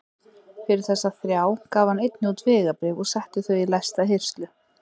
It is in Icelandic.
Fyrir þessa þrjá gaf hann einnig út vegabréf og setti þau í læsta hirslu.